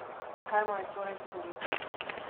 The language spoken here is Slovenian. Kaj mu je torej storiti?